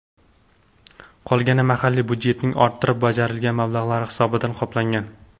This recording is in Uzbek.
Qolgani mahalliy budjetning orttirib bajarilgan mablag‘lari hisobidan qoplangan.